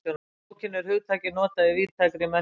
Í bókinni er hugtakið notað í víðtækri merkingu.